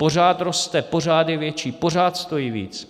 Pořád roste, je pořád větší, pořád stojí víc.